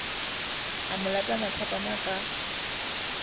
a mo lata mathapama ka